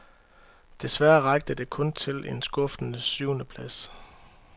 Desværre rakte det kun til en skuffende syvende plads.